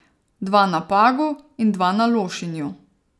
Dva na Pagu in dva na Lošinju.